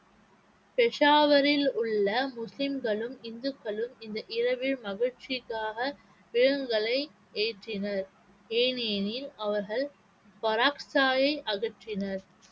பெஷாவரில் உள்ள முஸ்லிம்களும், இந்துக்களும் இந்த மகிழ்ச்சிக்காக ஏற்றினர் ஏனெனில் அவர்கள் பராக்தாயை அகற்றினர்